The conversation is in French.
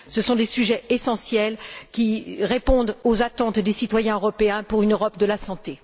Ce sont des sujets essentiels qui répondent aux attentes des citoyens européens pour une Europe de la santé.